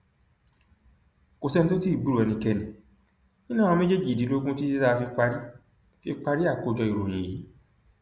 kò sẹni tó tí ì gbúròó ẹnikẹni nínú àwọn méjèèjìdínlógún títí tá a fi parí fi parí àkójọ ìròyìn yìí